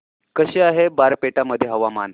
कसे आहे बारपेटा मध्ये हवामान